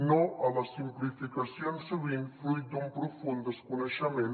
no a les simplificacions sovint fruit d’un profund desconeixement